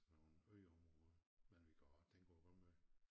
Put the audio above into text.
Nogle ø områder men vi kan også tænke på Rømø